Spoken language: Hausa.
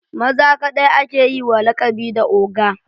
Maza kaɗai ake yi wa lakabi da oga